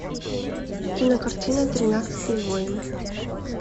кинокартина тринадцатый воин